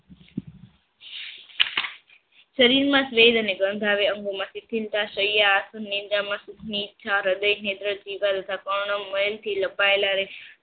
શરીર માં સ્વેદ અને ગંધ આવે અંગો માંથી થીણતા સૈયા આસન નિંજા લપાયેલા રહે છે